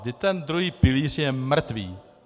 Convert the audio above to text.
Vždyť ten druhý pilíř je mrtvý.